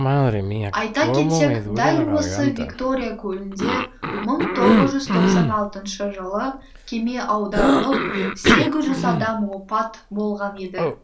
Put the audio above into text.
айта кетсек дәл осы виктория көлінде мың тоғыз жүз тоқсан алтыншы жылы кеме аударылып сегіз жүз адам опат болған еді